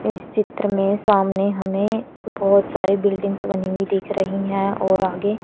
इस चित्र में सामने हमें बहोत सारी बिल्डिंग्स बनी हुई दिख रही हैं और आगे--